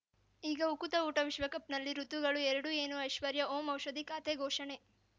ಈಗ ಉಕುತ ಊಟ ವಿಶ್ವಕಪ್‌ನಲ್ಲಿ ಋತುಗಳು ಎರಡು ಏನು ಐಶ್ವರ್ಯಾ ಓಂ ಔಷಧಿ ಖಾತೆ ಘೋಷಣೆ